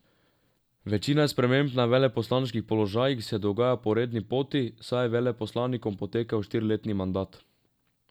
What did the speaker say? Večina sprememb na veleposlaniških položajih se dogaja po redni poti, saj je veleposlanikom potekel štiriletni mandat.